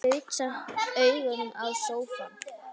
Gaut samt augum á sófann.